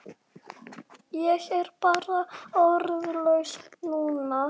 Ég er bara orðlaus núna.